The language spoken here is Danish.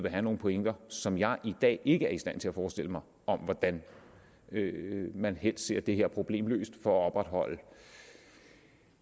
have nogle pointer som jeg i dag ikke er i stand til at forestille mig om hvordan man helst ser det her problem løst for at opretholde